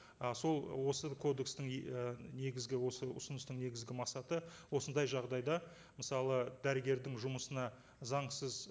ы сол осы кодекстің і негізгі осы ұсыныстың негізгі мақсаты осындай жағдайда мысалы дәрігердің жұмысына заңсыз